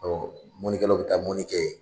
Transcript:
mɔnikɛlaw bɛ taa mɔni kɛɛ